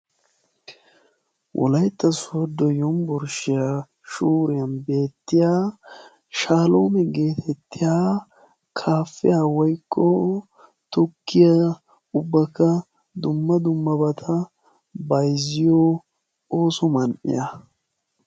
Wolaytta sooddo yumburshshiya shuuriyan beettiya shaaloome geetettiya kaafiya woykko tukkiya ubbakka dumma dummabata bayizziyo ooso man'iya.